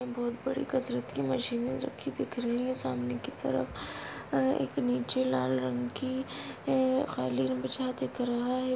बहुत बड़ी कसरत की मशीने रखी है सामने तरफ एक नीचे लाल रंग की है खाली रंग अ